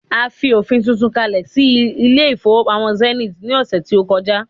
a fi ofin tuntun kale sí ilé ifowópamọ́ Zenith ni ọsẹ ti o koja